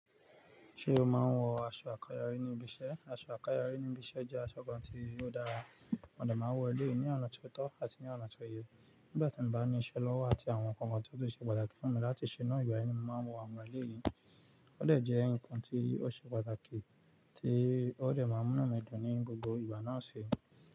Ṣé o máa ń wọ aṣọ àkáyọrí ní ibiṣẹ́? Aṣọ àkáyọrí ní ibiṣẹ́ jẹ́ aṣọ kan tí óò dára. Mo de máa ń wọ̀ elẹ́yìn ní ọ̀nà tó tọ́ àti ní ọ̀nà tó yẹ. Nígbà tí mo bá ní iṣẹ́ lọ́wọ́ àti àwọn nnkan tó ṣe pàtàkì fún mi láti ṣe náà, ìwà yẹn ni mo máa ń wọ àwọn ẹlẹ́yìn. Ó dẹ́ ǹkan tí ó ṣe pàtàkì, tí ó de máa ń múnu mi dùn ní gbogbo ìgbà náà ṣi.